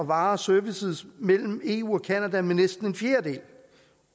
varer og services mellem eu og canada med næsten en fjerdedel